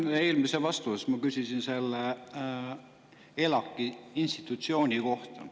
Eelmises ma küsisin selle ELAK‑i institutsiooni kohta.